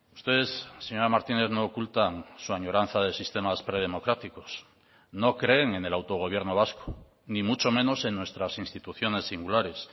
ustedes señora martínez no ocultan su añoranza de sistemas predemocráticos no creen en el autogobierno vasco ni mucho menos en nuestras instituciones singulares